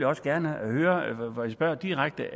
også gerne høre og jeg spørger direkte